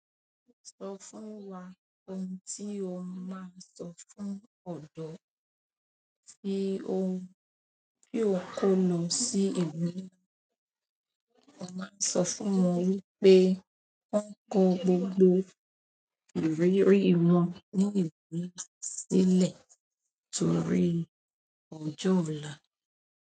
Sọ fún wa ohun tí o máa sọ fún ọ̀dọ́ tí o n kó lọ sí ìlú náà. Sọ fún wọn wípé wọ́n kó gbogbo ìrírí wọn ní ìlú sílẹ̀ torí òjò ola.